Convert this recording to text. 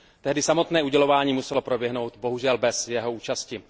Tehdy samotné udělování muselo proběhnout bohužel bez jeho účasti.